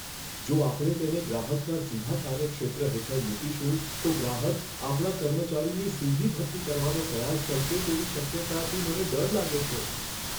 જો આપણે તેને ગ્રાહકના સીધા કાર્યક્ષેત્ર હેઠળ મૂકીશું, તો ગ્રાહક આપણા કર્મચારીની સીધી ભરતી કરવાનો પ્રયાસ કરશે તેવી શક્યતાથી મને ડર લાગે છે.